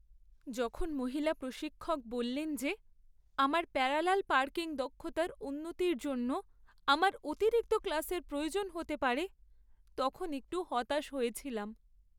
যখন মহিলা প্রশিক্ষক বললেন যে আমার প্যারালাল পার্কিং দক্ষতার উন্নতির জন্য আমার অতিরিক্ত ক্লাসের প্রয়োজন হতে পারে, তখন একটু হতাশ হয়েছিলাম।